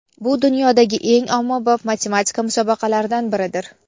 Bu dunyodagi eng ommabop matematika musobaqalaridan biridir.